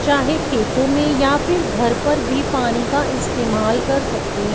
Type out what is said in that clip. चाहे खेतों में या फिर घर पर भी पानी का इस्तेमाल कर सकते--